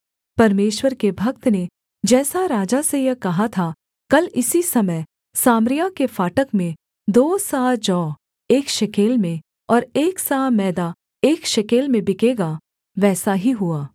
परमेश्वर के भक्त ने जैसा राजा से यह कहा था कल इसी समय सामरिया के फाटक में दो सआ जौ एक शेकेल में और एक सआ मैदा एक शेकेल में बिकेगा वैसा ही हुआ